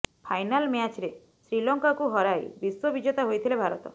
final ମ୍ୟାଚ୍ରେ ଶ୍ରୀଲଙ୍କାକୁ ହରାଇ ବିଶ୍ବ ବିଜେତା ହୋଇଥିଲା ଭାରତ